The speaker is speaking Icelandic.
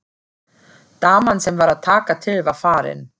Daman sem var að taka til var farin.